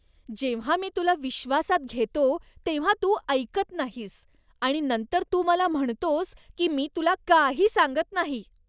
जेव्हा मी तुला विश्वासात घेतो तेव्हा तू ऐकत नाहीस आणि नंतर तू मला म्हणतोस की मी तुला काही सांगत नाही.